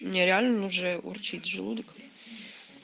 не реально ну же урчит желудок